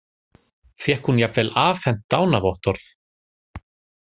Fékk hún jafnvel afhent dánarvottorð